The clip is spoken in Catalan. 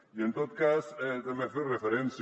i en tot cas també fer referència